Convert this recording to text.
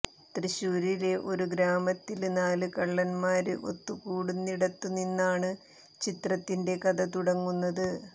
തൃശ്ശൂരിലെ ഒരു ഗ്രാമത്തില് നാല് കള്ളന്മാര് ഒത്തുകൂടുന്നിടത്തുനിന്നാണ് ചിത്രത്തിന്റെ കഥ തുടങ്ങുന്നത്